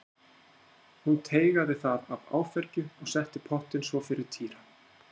Hún teygaði það af áfergju og setti pottinn svo fyrir Týra.